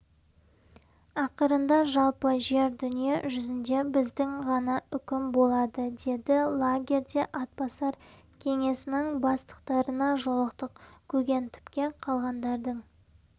ақырында жалпы жер-дүние жүзінде біздің ғана үкім болады деді лагерьде атбасар кеңесінің бастықтарына жолықтық көгентүпке қалғандардың